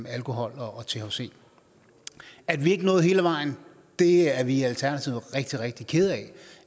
alkohol og thc at vi ikke nåede hele vejen er er vi i alternativet rigtig rigtig kede